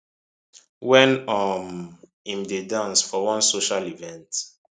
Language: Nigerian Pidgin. wen um im dey dance for one social event